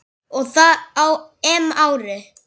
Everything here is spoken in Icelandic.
Og það á EM-ári.